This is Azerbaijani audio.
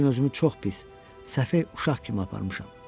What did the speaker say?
Bu gün özümü çox pis, səfeh uşaq kimi aparmışam.